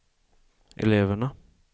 eleverna